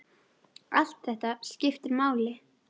Allt þetta skiptir máli.